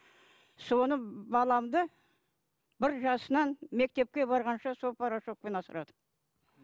соны баламды бір жасынан мектепке барғанша сол порошокпен асырадым